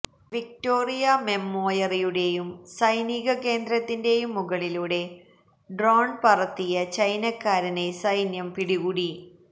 Victoria മെമ്മോയറിയുടേയും സൈനീകകേന്ദ്രത്തിന്റെയും മുകളിലൂടെ ഡ്രോണ് പറത്തിയ ചൈനാക്കാരനെ സൈന്യം പിടികൂടി